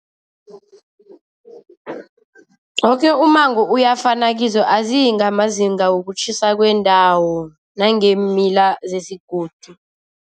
Woke ummango uyafuna kizo, aziyi ngamazinga wokutjhisa kweendawo nangeemila zesigodi.